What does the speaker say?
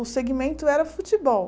O segmento era futebol.